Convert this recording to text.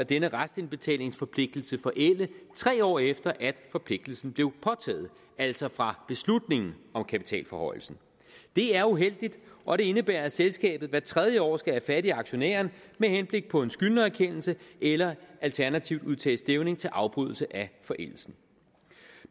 denne restindbetalingsforpligtelse forælde tre år efter at forpligtelsen blev påtaget altså fra beslutningen om kapitalforhøjelsen det er uheldigt og det indebærer at selskabet hvert tredje år skal have fat i aktionæren med henblik på en skyldnererkendelse eller alternativt udtage stævning til afbrydelse af forældelsen